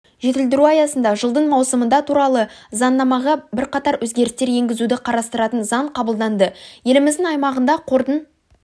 жетілдіру аясында жылдың маусымында туралы заңнамаға бірқатар өзгерістер енгізуді қарастыратын заң қабылданды еліміздің аймағында қордың